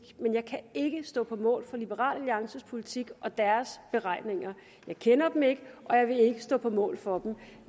men jeg kan ikke stå på mål for liberal alliances politik og deres beregninger jeg kender dem ikke og jeg vil ikke stå på mål for dem